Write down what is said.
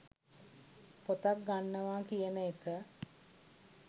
පොතක් ගන්නවා කියන එක